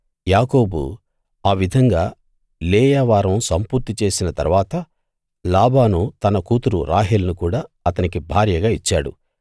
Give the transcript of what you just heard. యాకోబు ఆ విధంగా లేయా వారం సంపూర్తి చేసిన తరువాత లాబాను తన కూతురు రాహేలును కూడా అతనికి భార్యగా ఇచ్చాడు